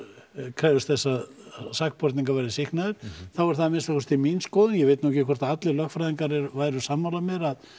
krefjumst þess að sakborningar verðir sýknaðir þá er það minnsta kosti mín skoðun ég veit ekki hvort allir lögfræðingar væru sammála mér að